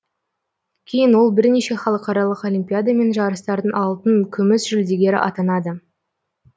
кейін ол бірнеше халықаралық олимпиада мен жарыстардың алтын күміс жүлдегері атанады